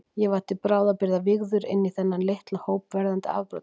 Ég var til bráðabirgða vígður inní þennan litla hóp verðandi afbrotamanna.